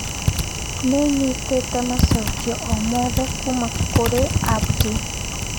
Nĩnyitĩte macokio o mothe kuuma kũrĩ Abdi.